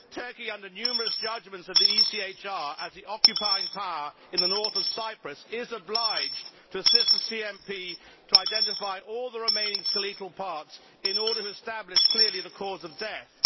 Turkey, under numerous judgments of the ECHR, as the occupying power in the north of Cyprus, is obliged to assist the CMP to identify all the remaining skeletal parts in order to establish clearly the cause of death.